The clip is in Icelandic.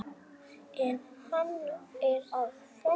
En hann er að föndra.